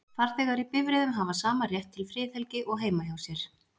farþegar í bifreiðum hafa sama rétt til friðhelgi og heima hjá sér